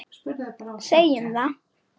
Segjum það.